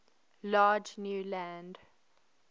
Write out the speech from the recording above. large new land